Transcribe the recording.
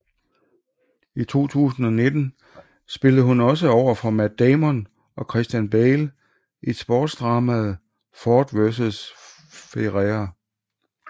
I 2019 spillede hun også overfor Matt Damon og Christian Bale i sportsdramaet Ford v Ferrari